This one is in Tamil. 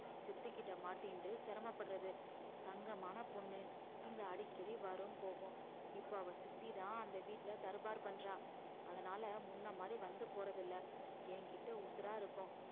சித்திக்கிட்ட மாட்டிண்டு சிரமப்படுறது தங்கமான பொண்ணு இங்க அடிக்கடி வரும் போகும் இப்ப அவ சித்திதான் அந்த வீட்டுல தர்பார் பண்றா அதனால முன்ன மாதிரி வந்து போறதில்ல என்கிட்ட உசுரா இருக்கும்